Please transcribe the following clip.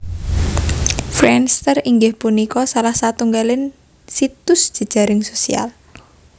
Friendster inggih punika salah satunggaling situs jejaring sosial